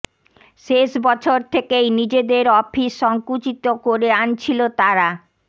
শেষ বছর থেকেই নিজেদের অফিস সঙ্কুচিত করে আনছিল তারা